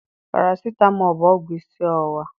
Parasitamọl bụ ọgwụ isi ọwụwa.